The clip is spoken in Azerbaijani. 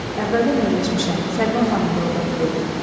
Əvvəldən öyrəşmişəm, Səlimə xanım da ordadır dedi.